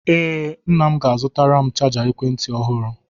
Ee, nna m ga-azụtara m chaja ekwentị ọhụrụ.